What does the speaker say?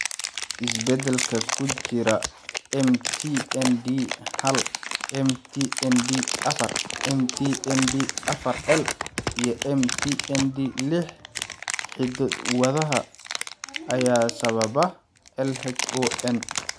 Isbeddellada ku jira MT ND hal, MT ND afar, MT ND afar L, iyo MT ND lix hiddo-wadaha ayaa sababa LHON.